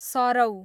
सरौ